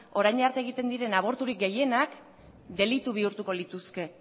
orain arte egiten diren aborturik gehienak delitu bihurtuko lituzke